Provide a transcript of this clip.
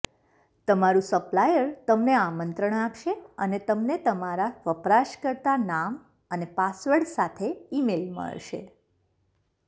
તમારું સપ્લાયર તમને આમંત્રણ આપશે અને તમને તમારા વપરાશકર્તા નામ અને પાસવર્ડ સાથે ઇમેઇલ મળશે